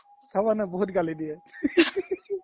চাবা না বহুত গালি দিয়ে